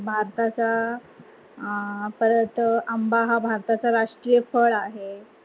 भारताचा परत आंबा हा भारताचा राष्ट्रीय फळ आहे.